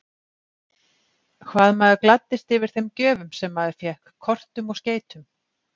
Hvað maður gladdist yfir þeim gjöfum sem maður fékk, kortum og skeytum!